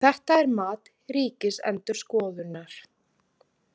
Þetta er mat Ríkisendurskoðunar